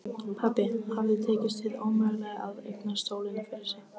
Pabba hafði tekist hið ómögulega: að eignast sólina fyrir sig.